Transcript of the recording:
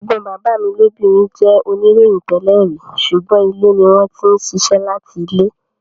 Ẹ̀gbọ́n bàbá mi lóbìnrin jẹ́ oníròyìn tẹ́lẹ̀ rí, sùgbọ́n ilé ni wọ́n ti ń ṣiṣẹ́ láti ilé.